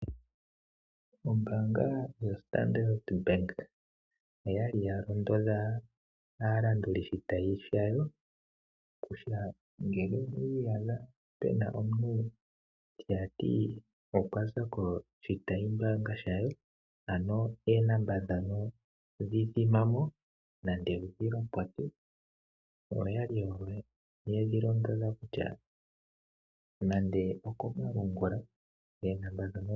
Ombaanga yoStandardBank oya li ya londodha aalanduli shitayi shayo kutya; ngele owi i yadha pu na omuntu tati okwa za koshitayi mbaanga shayo ano oonomola ndhono dhi dhima mo nenge wu dhi lopote, oyo oyali yedhi londodha kutya nande okomalungula.